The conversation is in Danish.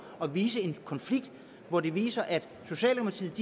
at vise en konflikt hvor det vises at socialdemokratiet